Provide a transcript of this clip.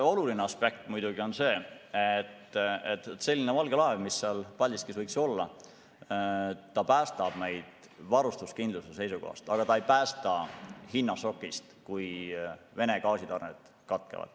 Oluline aspekt on see, et see valge laev, mis seal Paldiskis võiks olla, päästab meid varustuskindluse seisukohast, aga ta ei päästa hinnašokist, kui Vene gaasitarned katkevad.